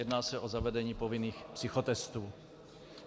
Jedná se o zavedení povinných psychotestů.